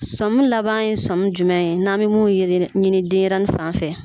Sɔmun laban ye sɔmun jumɛn ye n'an be min yegere ɲini denyɛrɛni fan fɛ